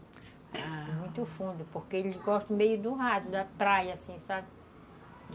Muito fundo, porque eles gostam meio do raso, da praia, assim, sabe?